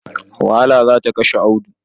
Wahala ce za ta kashe Audu.